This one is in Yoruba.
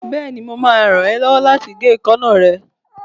Bẹ́ẹ̀ni, mo máa ràn ẹ́ lọ́wọ́ láti gé èékánná ẹ